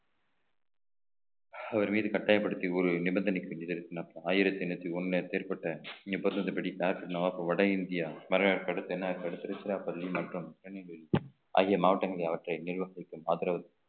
அவர் மீது கட்டாயப்படுத்தி ஒரு நிபந்தனைக்கு ஆயிரத்தி எண்ணூத்தி ஒண்ணுல ஏற்பட்ட நிர்பந்தது படி நவாப் வட இந்தியா வரவேற்பை அடுத்து திருச்சிராப்பள்ளி மற்றும் ஆகிய மாவட்டங்களில் அவற்றை நிர்வகிக்கும் ஆதரவு